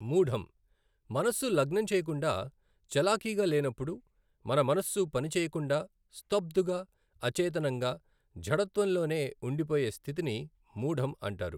మూఢం, మనస్సు లగ్నం చేయకుండా చలాకీగా లేనప్పుడు మన మనస్సు పనిచేయకుండా స్తబ్ధుగా అచేతనంగా జడత్వంలోనే ఉండిపోయే స్థితిని మూఢం అంటారు.